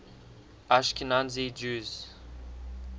ashkenazi jews